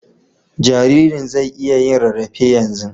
Jaririn zai iya yin rarrafe yanzu.